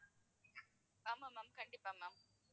ஆமா ma'am கண்டிப்பா ma'am.